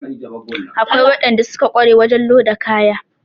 Akwai waɗanda suka ƙware wajen loda kaya